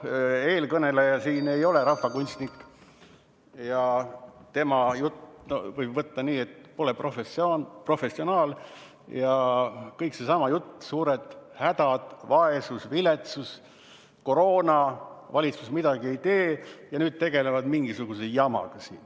Eelkõneleja ei ole rahvakunstnik ja tema juttu võib võtta nii, et ta pole professionaal, aga kõik seesama jutt: suured hädad, vaesus, viletsus, koroona, valitsus midagi ei tee ja nüüd tegelevad nad mingisuguse jamaga.